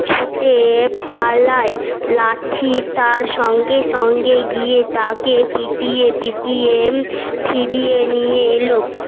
ছুটে পালায় লাঠি তার সঙ্গে সঙ্গে গিয়ে তাকে পিটিয়ে পিটিয়ে ফিরিয়ে নিয়ে এলো